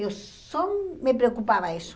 Eu só me preocupava isso.